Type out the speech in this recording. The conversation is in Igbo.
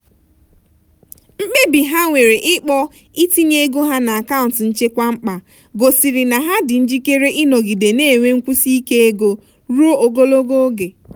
mkpebi ha nwere ikpọ itinye ego ha n'akaụntụ nchekwa mkpa gosiri na ha dị njikere ịnọgide na-enwe nkwụsi ike ego ruo ogologo oge.